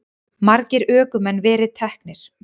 Margir ökumenn verið teknir